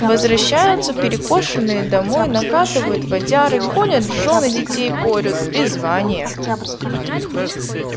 возвращаются перекошенные домой накатывают водяры гонят жён и детей порют призвание